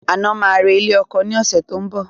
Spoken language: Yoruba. Aina máa re ilé ọkọ ni ọ̀sẹ̀ tó ń bọ̀